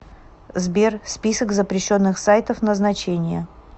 сбер список запрещенных сайтов назначение